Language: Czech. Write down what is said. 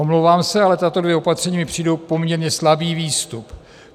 Omlouvám se, ale tato dvě opatření mi přijdou poměrně slabý výstup.